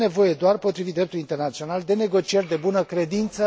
E nevoie doar, potrivit dreptului internațional, de negocieri de bună credință.